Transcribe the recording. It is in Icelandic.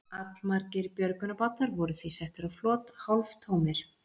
Allmargir björgunarbátar voru því settir á flot hálftómir.